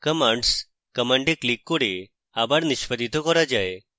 commands command এ click করে আবার নিষ্পাদিত করা যায়